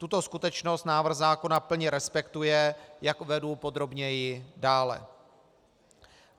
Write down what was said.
Tuto skutečnost návrh zákona plně respektuje, jak uvedu podrobněji dále.